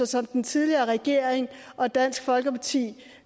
som den tidligere regering og dansk folkeparti